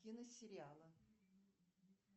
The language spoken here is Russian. киносериала